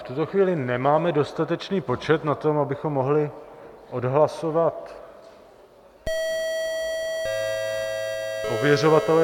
V tuto chvíli nemáme dostatečný počet na to, abychom mohli odhlasovat ověřovatele.